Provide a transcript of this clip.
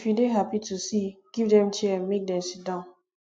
if you dey happy to see give dem chair make dem sidon